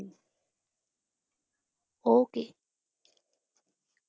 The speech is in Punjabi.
Okay